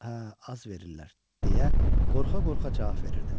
Hə, az verirlər, deyə qorxa-qorxa cavab verirdim.